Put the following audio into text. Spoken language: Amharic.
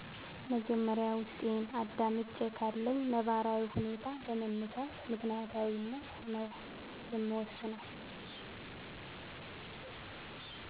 መጀመሪያ ውስጤን አዳምጨ ካለኝ ነባራዊ ሁኔታ በመነሳት በምክንያታዊነት ነዉ የምወስነው